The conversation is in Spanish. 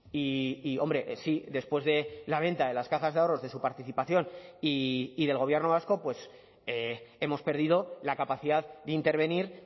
y hombre sí después de la venta de las cajas de ahorros de su participación y del gobierno vasco pues hemos perdido la capacidad de intervenir